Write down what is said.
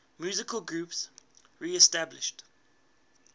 musical groups reestablished